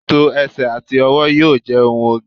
tító ẹsẹ ati ọwọ yíò je ohun oge